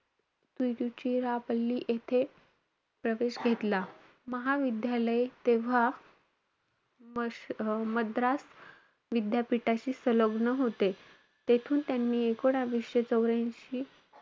तिरुचिराप्पली येथे प्रवेश घेतला. महाविद्यालय तेव्हा म~ मद्रास विद्यापीठाशी संलग्न होते. तेथून त्यांनी एकूणवीसशे चौर्यांशी,